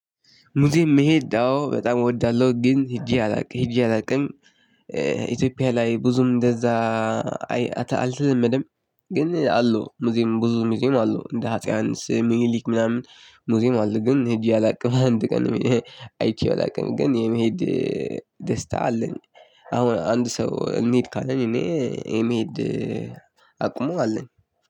ሙዚየም መሄድ አዎ በጣም እወዳለሁ ግን ሄጄ አላውቅም ሄጄ አላውቅም ኢትዮጵያ ላይ ብዙም እንደዛ አልተለመደም። ግን አለው ሙዚየሙ ብዙ ሙዚየም አለው እንደ አፄ ዮሐንስ ሚኒሊክ ምናምን ሙዚም አለ ግን ሄጄ አላውቅም። አንድ ቀን አይቼው አላውቅም ግን የመሄድ ደስታ አለኝ። አሁን አንድ ሰው እንሂድ ካለኝ እኔ የመሄድ አቅሙ አለኝ።